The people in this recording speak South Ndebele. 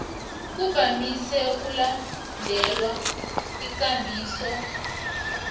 kuvamise ukulandelwa ikambiso